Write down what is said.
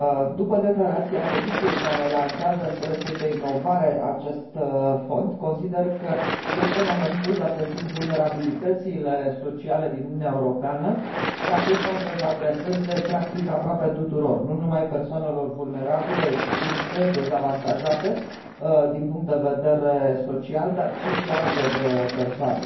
După declarația Comisiei, care lansează în proiectul de inovare acest fond, consider că este momentul, date fiind vulnerabilitățile sociale din Uniunea Europeană, ca acest fond să se adreseze practic aproape tuturor, nu numai persoanelor vulnerabile, excluse, dezavantajate din punct din vedere social, ci și altor persoane.